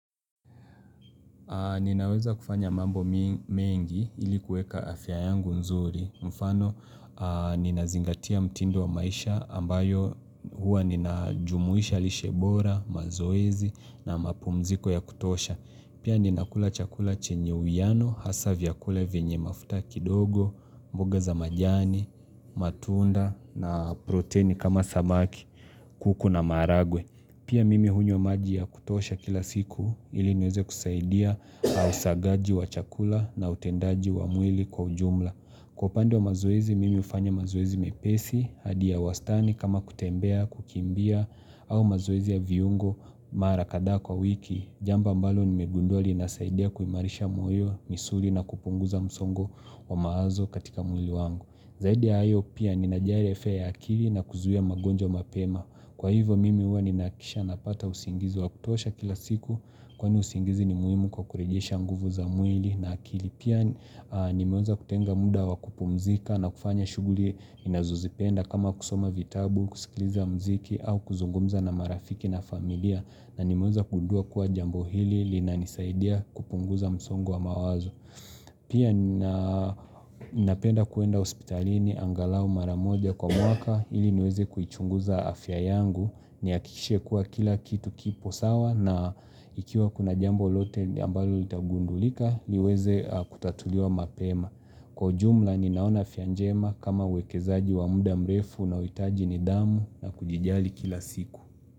Ninaweza kufanya mambo mengi ili kuweka afya yangu nzuri. Mfano, ninazingatia mtindo wa maisha ambayo hua nina jumuisha lishebora, mazoezi na mapumziko ya kutosha. Pia ninakula chakula chenye uiano hasa vyakula vyenye mafuta kidogo, mboga za majani, matunda na protein kama samaki, kuku na maharagwe. Pia mimi hunywa maji ya kutosha kila siku ili nweze kusaidia na usagaji wa chakula na utendaji wa mwili kwa ujumla. Kwa upande wa mazoezi mimi hufanya mazoezi mepesi, hadi ya wastani kama kutembea, kukimbia au mazoezi ya viungo mara kadhaa kwa wiki. Jambo ambalo nimegunduwa linasaidia kuimarisha moyo, misuli na kupunguza msongo wa mawazo katika mwili wangu. Zaidi ya hayo pia ninajali afya ya akili na kuzuia magonjwa mapema. Kwa hivo mimi huwa ninaakikisha napata usingizi wa kutuosha kila siku kwa ni usingizi ni muhimu kwa kurejesha nguvu za mwili na akili. Pia nimeweza kutenga muda wa kupumzika na kufanya shuguli ninazozipenda kama kusoma vitabu, kusikiliza mziki au kuzungumza na marafiki na familia. Na nimeweza kugundua kuwa jambo hili linanisaidia kupunguza msongo wa mawazo. Pia ninapenda kwenda hospitalini angalau maramoja kwa mwaka ili niweze kuichunguza afya yangu ni hakikishe kuwa kila kitu kipo sawa na ikiwa kuna jambo lote ambalo litagundulika liweze kutatuliwa mapema. Kwa ujumla ninaona afya njema kama uwekezaji wa muda mrefu unaohitaji nidhamu na kujijali kila siku.